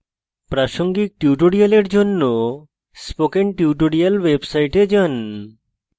প্রাসঙ্গিক tutorials জন্য spoken tutorials website যান